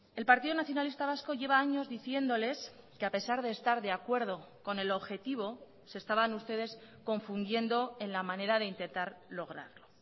el partido nacionalista vasco lleva años diciéndoles que a pesar de estar de acuerdo con el objetivo se estaban ustedes confundiendo en la manera de intentar lograrlo